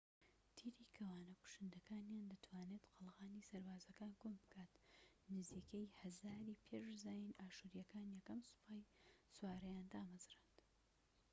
تیری کەوانە کوشندەکانیان دەتوانێت قەڵغانی سەربازەکان کون بکات. نزیکەی ١٠٠٠ ی پێش زاین ئاشوریەکان یەکەم سوپای سوارەیان دامەزراند